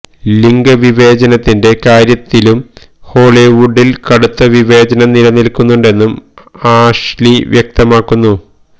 ലിംഗ വിവേചനത്തിന്റെ കാര്യത്തിലും ഹോളിവുഡില് കടുത്ത വിവേചനം നില നില്ക്കുന്നുണ്ടെന്നും ആഷ്ലി വ്യക്തമാക്കുന്നു